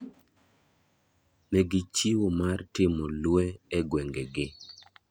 Ne gichiwo mar timo lwe e gwenge gi.